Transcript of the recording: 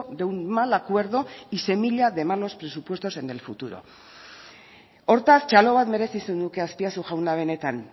de un mal acuerdo y semilla de malos presupuestos en el futuro hortaz txalo bat merezi zenuke azpiazu jauna benetan